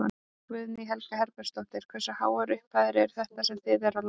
Guðný Helga Herbertsdóttir: Hversu háar upphæðir eru þetta sem þið eruð að lána?